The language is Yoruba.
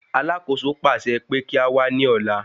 Alákòóso pàṣẹ pé kí á wá ní ọ̀lá.